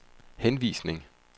henvisning